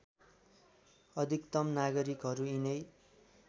अधिकतम नागरिकहरू यिनै